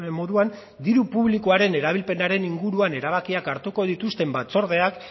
moduan diru publikoaren erabilpenaren inguruan erabakiak hartuko dituzten batzordeak